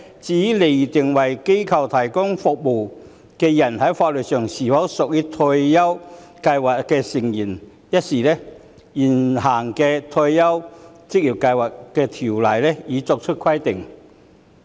至於釐定為機構提供服務的人在法律上是否屬於職業退休計劃成員一事，現行的《職業退休計劃條例》已作出規定。